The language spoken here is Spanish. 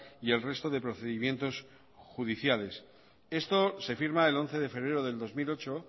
y el resto de procedimientos judiciales esto se firma el once de febrero del dos mil ocho